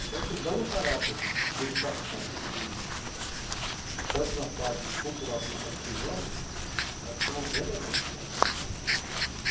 Então, você dando um caráter de educação para os filhos, tanto na parte cultural como na parte religiosa, acho que é um grande avanço para a para a educação, sabe?